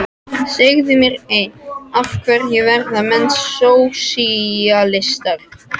Segðu mér eitt: af hverju verða menn sósíalistar?